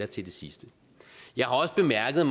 til det sidste jeg har også bemærket